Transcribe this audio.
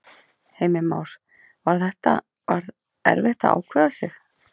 Heimir Már: Var þetta, var erfitt að ákveða sig?